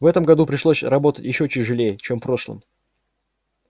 в этом году пришлось работать ещё тяжелее чем в прошлом